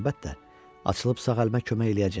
Əlbəttə, açılıb sağ əlimə kömək eləyəcək.